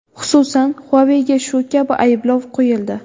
Xususan, Huawei’ga shu kabi ayblov qo‘yildi.